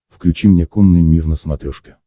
включи мне конный мир на смотрешке